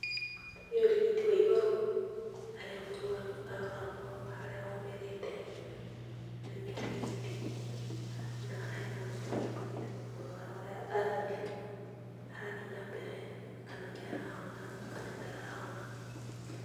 Nĩ ũrigiti wa igũrũ, harĩa mũrwaru aroragwo harĩa omĩrĩte nĩ arigiti, na hena mũtumia ũkĩte kũmũrora ũrĩa arathiĩ na mbere, kana nĩarahona kana ndarahona.